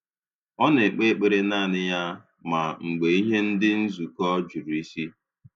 Ọ na-ekpe ekpere naanị ya, ma mgbe ihe ndị nzukọ juru isi